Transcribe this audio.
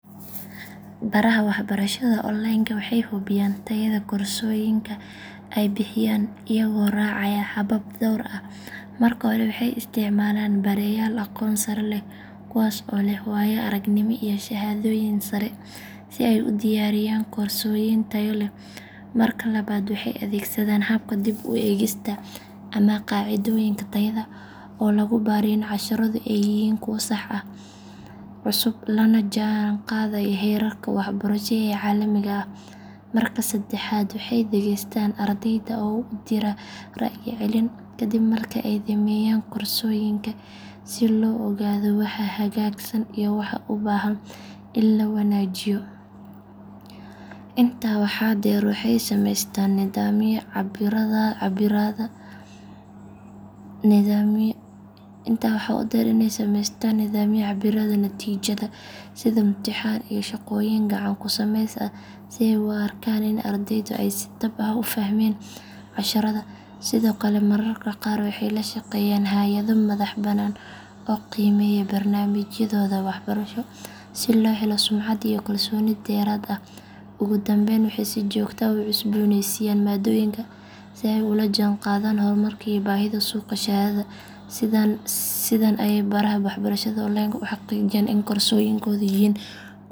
Baraha waxbarashada online ka waxay hubiyaan tayada koorsooyinka ay bixiyaan iyagoo raacaya habab dhowr ah. Marka hore waxay isticmaalaan bareyaal aqoon sare leh kuwaas oo leh waayo aragnimo iyo shahaadooyin sare si ay u diyaariyaan koorsooyin tayo leh. Marka labaad waxay adeegsadaan habka dib u eegista ama "qaacidooyinka tayada" oo lagu baaro in casharradu ay yihiin kuwo sax ah, cusub, lana jaan qaadaya heerarka waxbarasho ee caalamiga ah. Marka saddexaad waxay dhageystaan ardayda oo u dira ra'yi celin kadib marka ay dhameeyaan koorsooyinka si loo ogaado waxa hagaagsan iyo waxa u baahan in la wanaajiyo. Intaa waxaa dheer waxay samaystaan nidaamyo cabbiraada natiijada sida imtixaan iyo shaqooyin gacan ku samays ah si ay u arkaan in ardaydu ay si dhab ah u fahmeen casharrada. Sidoo kale mararka qaar waxay la shaqeeyaan hay’ado madax banaan oo qiimeeya barnaamijyadooda waxbarasho si loo helo sumcad iyo kalsooni dheeraad ah. Ugu dambayn waxay si joogto ah u cusboonaysiiyaan maaddooyinka si ay ula jaanqaadaan horumarka iyo baahida suuqa shaqada. Sidan ayay baraha waxbarashada online ka u xaqiijiyaan in koorsooyinkoodu yihiin kuwo tayo sare leh oo faa’iido leh.